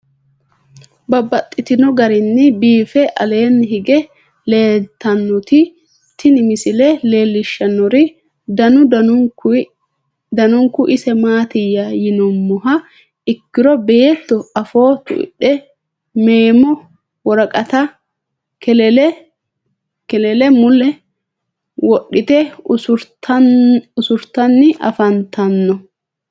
Babaxxittinno garinni biiffe aleenni hige leelittannotti tinni misile lelishshanori danu danunkunni isi maattiya yinummoha ikkiro beetto afoo tuidhe meemo, woraqatta, kelele mule wodhitte usurittanni afanttanno.